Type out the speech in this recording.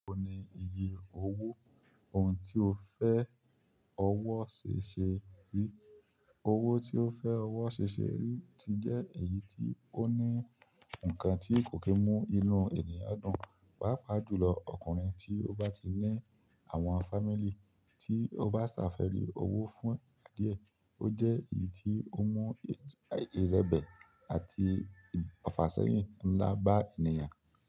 Ó ní iye owó ohun tí ó fẹ ọwọ ṣe ṣe ri, owó tí ó fẹ ọwọ ṣe ṣe ri ti jẹ èyí tí ó ní ǹkan tí kò kí n mú inú ènìyàn dùn, pàápàá julọ ọkùnrin tí o bá ti ní àwọn fámílì tí o bá ṣafẹri owó fún ìgbà diẹ, ó jẹ èyí tí o ń mú irebẹ àti ọfàsẹyin ńlá bá ènìyàn.